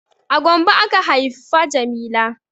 A Gombe aka haifa jamila